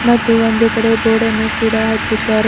ಮತ್ತು ಒಂದು ಕಡೆ ಬೋರ್ಡ್ ಅನ್ನು ಕೂಡ ಹಚ್ಚಿದ್ದಾರೆ.